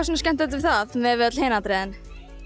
svona skemmtilegt við það miðað við öll hin atriðin